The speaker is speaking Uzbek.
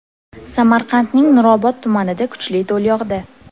Samarqandning Nurobod tumanida kuchli do‘l yog‘di .